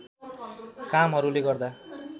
कामहरुले गर्दा